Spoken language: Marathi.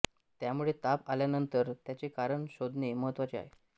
त्यामुळे ताप आल्यानंतर त्याचे कारण शोधणे महत्त्वाचे आहे